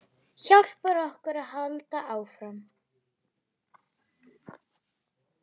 Hjálpar okkur að halda áfram.